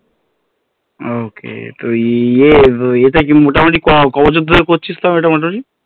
Okay তুই ইয়ে মোটামোটি ক বছর ধরে করছিস তাও এটা মোটামোট